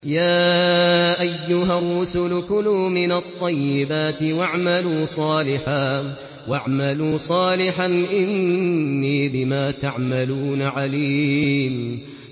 يَا أَيُّهَا الرُّسُلُ كُلُوا مِنَ الطَّيِّبَاتِ وَاعْمَلُوا صَالِحًا ۖ إِنِّي بِمَا تَعْمَلُونَ عَلِيمٌ